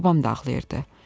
Babam da ağlayırdı.